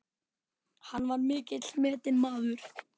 Hann var mikils metinn maður.